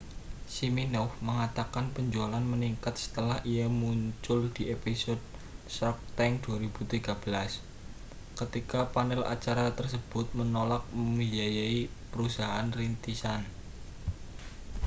siminoff mengatakan penjualan meningkat setelah ia muncul di episode shark tank 2013 ketika panel acara tersebut menolak membiayai perusahaan rintisan